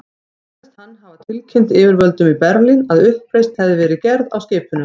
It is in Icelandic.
Sagðist hann hafa tilkynnt yfirvöldum í Berlín, að uppreisn hefði verið gerð á skipinu.